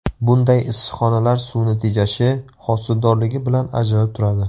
Bunday issiqxonalar suvni tejashi, hosildorligi bilan ajralib turadi.